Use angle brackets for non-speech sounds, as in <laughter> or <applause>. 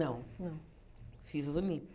Não, fiz o <unintelligible>